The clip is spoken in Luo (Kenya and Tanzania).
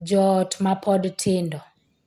Joot ma pod tindo